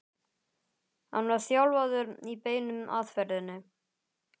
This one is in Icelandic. hann var þjálfaður í beinu aðferðinni.